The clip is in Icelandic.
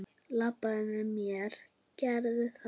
Labbaðu með mér, gerðu það!